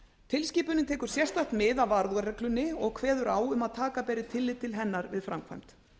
tilskipunin tekur sérstakt mið af varúðarreglunni og kveður á um að taka beri tillit til hennar við framkvæmd